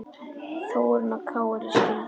Þórunn og Kári skildu.